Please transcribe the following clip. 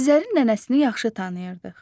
Azəri nənəsini yaxşı tanıyırdıq.